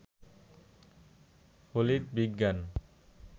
ফলিত বিজ্ঞান